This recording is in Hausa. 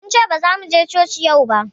Mun ce bazamu je coci yau ba